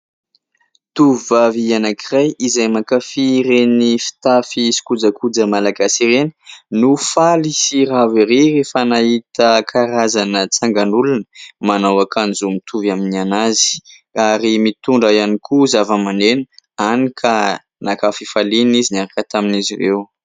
Tovovavy anankiray izay mankafy ireny fitafy sy kojakoja Malagasy ireny no faly sy ravo erỳ rehefa nahita karazana tsangan'olona manao ankanjo mitovy amin'ny anazy ; ary mitondra ihany koa zava-maneno hany ka naka fifaliana izy niaraka tamin'izy ireo.